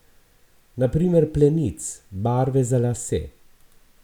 Na primer plenic, barve za lase.